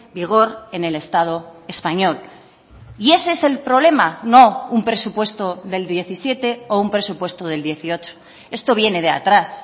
vigor en el estado español y ese es el problema no un presupuesto del diecisiete o un presupuesto del dieciocho esto viene de atrás